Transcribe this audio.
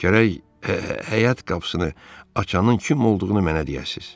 Gərək həyat qapısını açanın kim olduğunu mənə deyəsiz.